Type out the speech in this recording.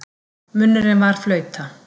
Munnurinn var flauta.